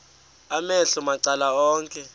amehlo macala onke